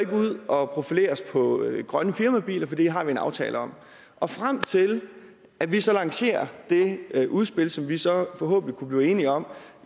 ud og profilerer os på grønne firmabiler for det har vi en aftale om og frem til at vi så lancerer det udspil som vi så forhåbentlig kunne blive enige om